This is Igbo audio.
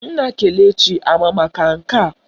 Nna Kelechi ama maka nke a?